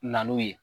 Na n'o ye